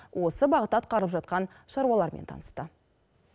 осы бағытта атқарылып жатқан шаруалармен танысты